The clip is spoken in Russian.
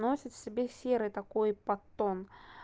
носит в себе серый такой подтон